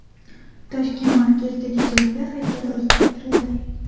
Toshkent markazidagi Zulfiya haykali o‘zgartirildi.